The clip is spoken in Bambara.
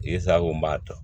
I sago n b'a ta